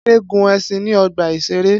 Ade gun ẹṣin ni ọgba iṣere